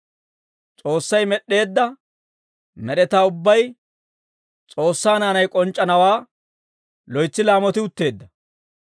S'oossay med'd'eedda med'etaa ubbay S'oossaa naanay k'onc'c'anawaa loytsi laamoti utteedda.